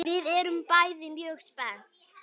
Við erum bæði mjög spennt.